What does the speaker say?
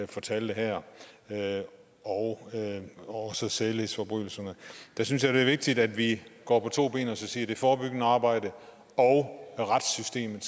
fortæller her og også for sædelighedsforbrydelserne der synes jeg det er vigtigt at vi går på to ben og siger at det forebyggende arbejde og og retssystemet